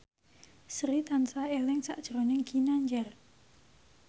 Sri tansah eling sakjroning Ginanjar